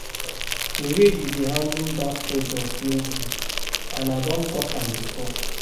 The way you dey handle dat product no good and I don talk am before